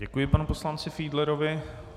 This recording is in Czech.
Děkuji panu poslanci Fiedlerovi.